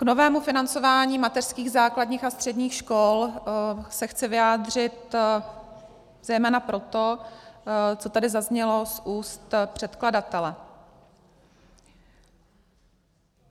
K novému financování mateřských, základních a středních škol se chci vyjádřit zejména proto, co tady zaznělo z úst předkladatele.